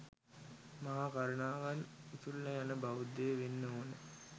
මහා කරුණාවෙන් උතුරල යන බෞද්ධයෙක් වෙන්න ඕන